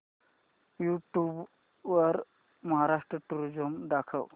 YouTube वर Maharashtra tourism दाखव